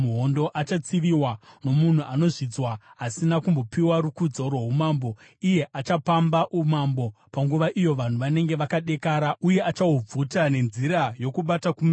“Achatsiviwa nomunhu anozvidzwa asina kumbopiwa rukudzo rwoumambo. Iye achapamba umambo panguva iyo vanhu vanenge vakadekara, uye achahubvuta nenzira yokubata kumeso.